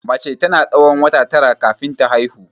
Mace tana tsawon wata tara kafin ta haihu.